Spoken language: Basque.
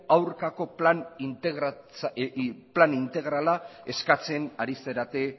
aurkako plan integrala eskatzen ari zarete